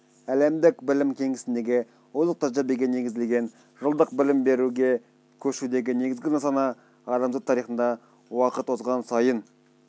әлемдік білім кеңістігіндегі озық тәжірибеге негізделген жылдық білім беруге көшудегі негізгі нысана-адамзат тарихында уақыт озған сайын